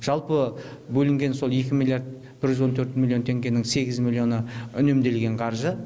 жалпы бөлінген сол екі миллиард жүз он төрт миллион теңгенің сегіз миллионы үнемделген қаржы